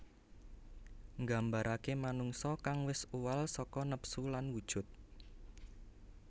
Nggambaraké manungsa kang wis uwal saka nepsu lan wujud